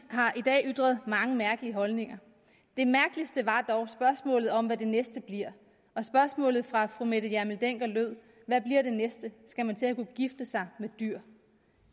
har i dag ytret mange mærkelige holdninger det mærkeligste var dog spørgsmålet om hvad det næste bliver spørgsmålet fra fru mette hjermind dencker lød hvad bliver det næste skal man til at kunne gifte sig med dyr